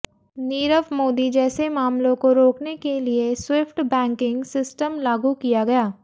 नीरव मोदी जैसे मामलों को रोकने के लिए स्विफ्ट बैंकिंग सिस्टम लागू किया गया